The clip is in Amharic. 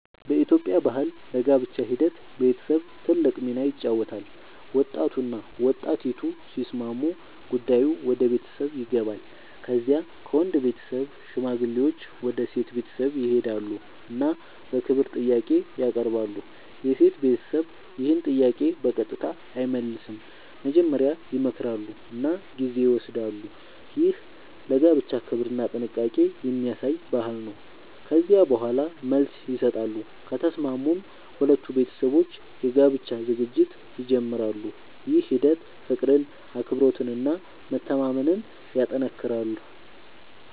በኢትዮጵያ ባህል ለጋብቻ ሂደት ቤተሰብ ትልቅ ሚና ይጫወታል። ወጣቱና ወጣቲቱ ሲስማሙ ጉዳዩ ወደ ቤተሰብ ይገባል። ከዚያ ከወንድ ቤተሰብ ሽማግሌዎች ወደ ሴት ቤተሰብ ይሄዳሉ እና በክብር ጥያቄ ያቀርባሉ። የሴት ቤተሰብ ይህን ጥያቄ በቀጥታ አይመልስም፤ መጀመሪያ ይመክራሉ እና ጊዜ ይወስዳሉ። ይህ ለጋብቻ ክብርና ጥንቃቄ የሚያሳይ ባህል ነው። ከዚያ በኋላ መልስ ይሰጣሉ፤ ከተስማሙም ሁለቱ ቤተሰቦች የጋብቻ ዝግጅት ይጀምራሉ። ይህ ሂደት ፍቅርን፣ አክብሮትን እና መተማመንን ያጠናክራል።